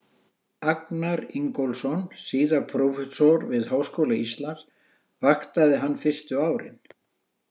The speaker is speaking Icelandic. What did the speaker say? Agnar Ingólfsson, síðar prófessor við Háskóla Íslands, vaktaði hann fyrstu árin.